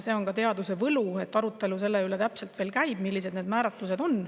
See on ka teaduse võlu, et arutelu veel käib selle üle, millised need määratlused on.